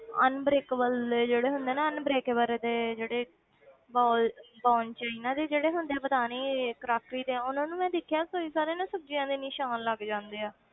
Unbreakable ਦੇ ਜਿਹੜੇ ਹੁੰਦੇ ਆ ਨਾ unbreakable ਦੇ ਜਿਹੜੇ ਬੋਲ bone china ਦੇ ਜਿਹੜੇ ਹੁੰਦੇ ਆ ਪਤਾ ਨੀ crockery ਦੇ ਉਹਨਾਂ ਨੂੰ ਮੈਂ ਦੇਖਿਆ ਕਈ ਸਾਰੇ ਨਾ ਸਬਜ਼ੀਆਂ ਦੇ ਨਿਸ਼ਾਨ ਲੱਗ ਜਾਂਦੇ ਆ